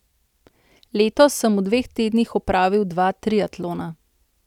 Letos sem v dveh tednih opravil dva triatlona.